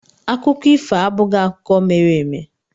Akụkọ ifo abụghị akụkọ mere eme.